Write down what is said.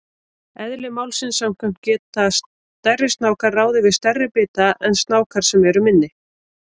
Eðli málsins samkvæmt geta stærri snákar ráðið við stærri bita en snákar sem eru minni.